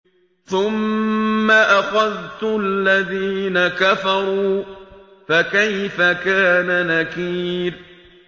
ثُمَّ أَخَذْتُ الَّذِينَ كَفَرُوا ۖ فَكَيْفَ كَانَ نَكِيرِ